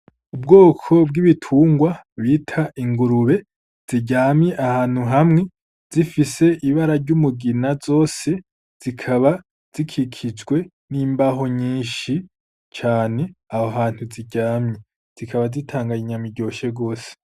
Ubwoko bw'ibitungwa bita ingurube ziryamye ahantu hamwe zifise ibara ry'umugina zose zikaba zikikijwe n'imbaho nyinshi cane. Aho hantu ziryamye zikaba zitanga inyama iryoshe gose.